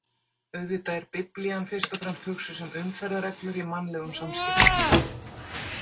Auðvitað er Biblían fyrst og fremst hugsuð sem umferðarreglur í mannlegum samskiptum.